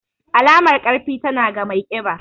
Alamar ƙarfi, tana ga mai ƙiba.